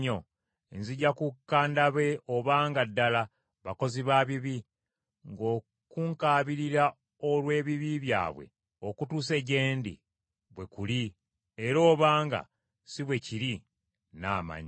nzija kukka ndabe obanga ddala bakozi ba bibi ng’okunkaabirira olw’ebibi byabwe okutuuse gye ndi bwe kuli, era obanga si bwe kiri nnaamanya.”